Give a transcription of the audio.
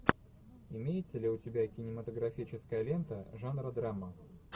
имеется ли у тебя кинематографическая лента жанра драма